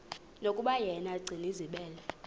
yokuba yena gcinizibele